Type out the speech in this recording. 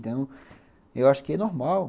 Então, eu acho que é normal.